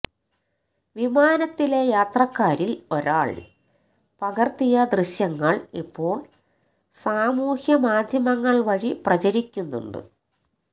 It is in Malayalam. വിമാനത്തിലെ യാത്രക്കാരിൽ ഒരാൾ പകർത്തിയ ദൃശ്യങ്ങൾ ഇപ്പോൾ സാമൂഹ്യ മാധ്യമങ്ങൾ വഴി പ്രചരിക്കുന്നുണ്ട്